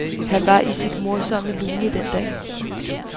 Han var i sit morsomme lune den dag.